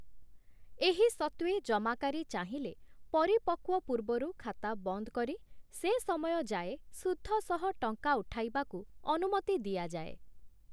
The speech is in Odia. ଏହି ସତ୍ତ୍ଵେ ଜମାକାରୀ ଚାହିଁଲେ ପରିପକ୍ୱ ପୂର୍ବରୁ ଖାତା ବନ୍ଦ କରି, ସେ ସମୟ ଯାଏ ସୁଧ ସହ ଟଙ୍କା ଉଠାଇବାକୁ ଅନୁମତି ଦିଆଯାଏ ।